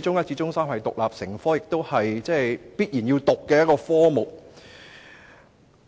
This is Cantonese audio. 中一至中三是獨立成科的，同時亦是必須修讀的科目。